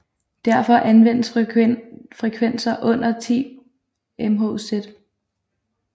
Derfor anvendes frekvenser under 10 MHz